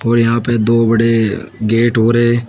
और यहां पे दो बड़े गेट और है।